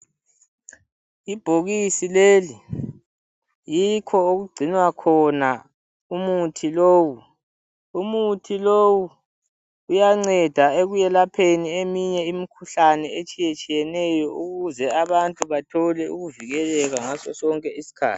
Ibhokisi leli yikho okungcinwa khona umuthi lowu umuthi lowu uyanceda ekweyelapheni eminye imkhuhlane etshiyetshiyeneyo ukuze abantu bathole ukuvikeleka ngaso sonke isikhathi.